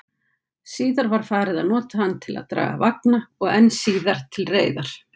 Síðar var farið að nota hann til að draga vagna, og enn síðar til reiðar.